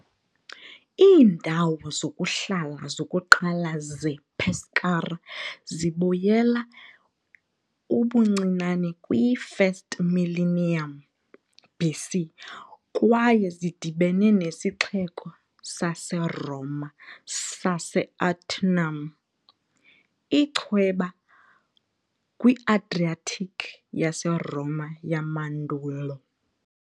Iindawo zokuhlala zokuqala zePescara zibuyela ubuncinane kwi-1st millennium BC kwaye zidibene nesixeko saseRoma sase "-Aternum", ichweba kwi-Adriatic yaseRoma yamandulo.